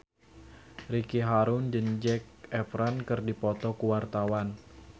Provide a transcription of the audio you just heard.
Ricky Harun jeung Zac Efron keur dipoto ku wartawan